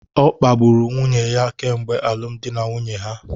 Ọ kpagburu nwunye ya kemgbe alụmdi na nwunye ha